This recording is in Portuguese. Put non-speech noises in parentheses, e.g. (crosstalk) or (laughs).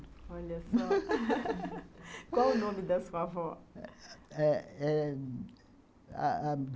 Olha só, (laughs) Qual o nome da sua avó?